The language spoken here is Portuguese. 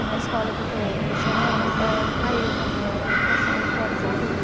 E na escola que eu estou lecionando é a eja, né, Educação de Jovens e Adultos.